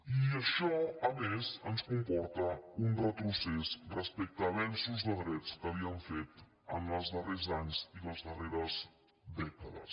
i això a més ens comporta un retrocés respecte a avenços de drets que havíem fet els darrers anys i les darreres dèca des